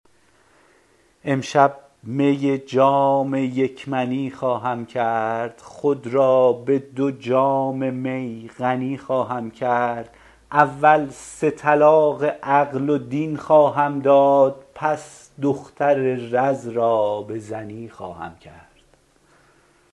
امشب می جام یک منی خواهم کرد خود را به دو جام می غنی خواهم کرد اول سه طلاق عقل و دین خواهم داد پس دختر رز را به زنی خواهم کرد